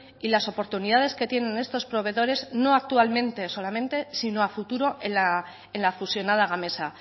y las oportunidades que tienen estos proveedores no actualmente solamente sino a futuro en la fusionada gamesa